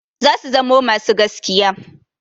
Zasu zamo masu gaskiya.